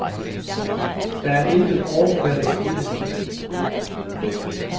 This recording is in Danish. Der er intet overfladisk i det.